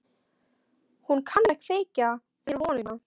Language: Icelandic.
Hún kann að kveikja þér vonina.